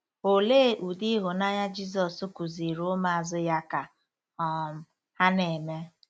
Olee ụdị ịhụnanya Jizọs kụziiri ụmụazụ ya ka um ha na-eme?